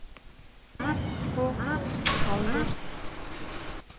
Haakon Haldorsen